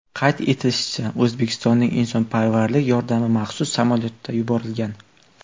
Qayd etilishicha, O‘zbekistonning insonparvarlik yordami maxsus samolyotda yuborilgan.